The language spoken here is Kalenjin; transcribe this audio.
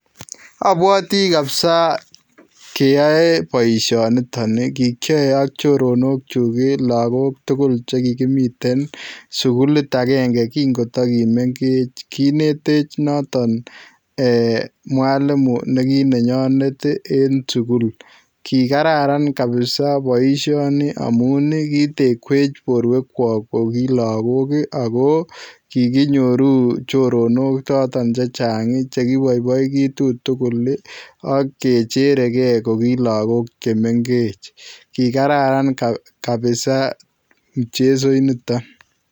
Abwatii kabisa keyae boisioni ii kikiyae ak choronok chuuk en lagook tugul che kikimii sugulita agenge kikotakimengeech kineteech notoon eeh [ mwalimu] neki nenyaneet ii en sugul kikararan kabisaa boisioni amuun ii kitekweech boruek kyaak ko kilagook ii ako kikinyoruu choronok chotoon chechaang chekibaibaitu tugul ii agecherekei kokilagook che mengech kikararan kabisaa mchezoit nitoon.